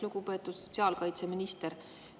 Lugupeetud sotsiaalkaitseminister!